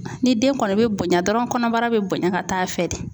Ni den kɔnɔ be bonya dɔrɔn kɔnɔbara be bonya ka taa fɛ de.